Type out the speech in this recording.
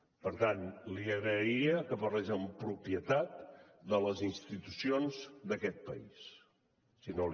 per tant li agrairia que parlés amb propietat de les institucions d’aquest país si no li sap greu